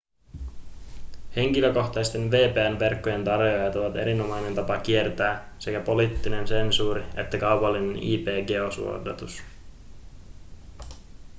henkilökohtaisten vpn-verkkojen tarjoajat ovat erinomainen tapa kiertää sekä poliittinen sensuuri että kaupallinen ip-geosuodatus